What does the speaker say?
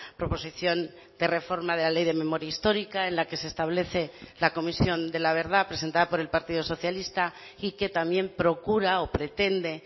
proposición de reforma de la ley de memoria histórica en la que se establece la comisión de la verdad presentada por el partido socialista y que también procura o pretende